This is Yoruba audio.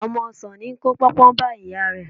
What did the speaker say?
Ọmọ ọsàn ní í kó póńpó bá ìyá rẹ̀.